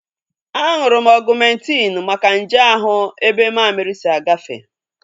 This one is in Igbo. Aṅụrụ m Ọgumentin maka nje ahụ ebe mammiri si agafe